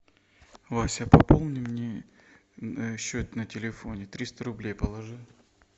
вася пополни мне счет на телефоне триста рублей положи